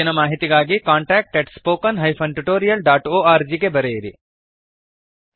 ಹೆಚ್ಚಿನ ಮಾಹಿತಿಗಾಗಿ contactspoken tutorialorg ಗೆ ಬರೆಯಿರಿ